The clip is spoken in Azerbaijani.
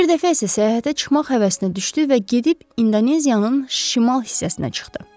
Bir dəfə isə səyahətə çıxmaq həvəsinə düşdü və gedib İndoneziyanın şimal hissəsinə çıxdı.